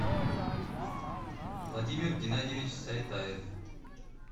владимир геннадьевич сайтаев